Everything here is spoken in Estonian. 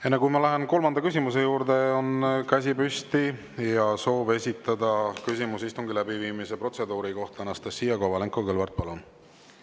Enne kui ma lähen kolmanda küsimuse juurde, on käsi püsti ja soov esitada küsimus istungi läbiviimise protseduuri kohta Anastassia Kovalenko-Kõlvartil.